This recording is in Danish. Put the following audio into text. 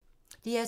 DR2